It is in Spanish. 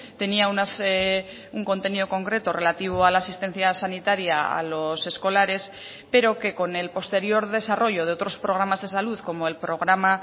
tenía un contenido concreto relativo a la asistencia sanitaria a los escolares pero que con el posterior desarrollo de otros programas de salud como el programa